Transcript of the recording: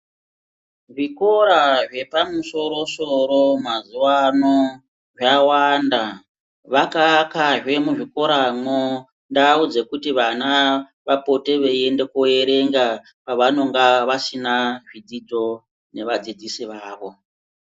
Zvikora zvepamusoro soro mazuvaano zvawanda vakaakazve muzvikoramwo ndau dzekuti vana vapote veiende koerenga pavanonga vasina zvidzidzo nevadzidzisi vavo .